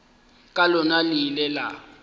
ka lona le ile la